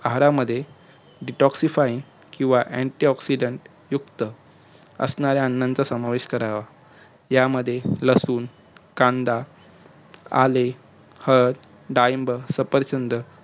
आहारामध्ये decoxifine आणि antioxident युक्त असणाऱ्या अनाचा समावेश करावा यामध्ये लसूण कांदा आले हळद डाळींबार सफरचंद